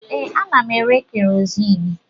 Ee, ana m ere kerozini